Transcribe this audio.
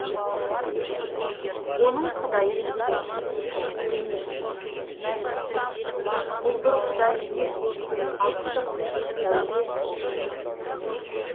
оның құдайы мекенсіз денесіз мәлімсіз бұлдыр құдай емес ақтық сәуле шындық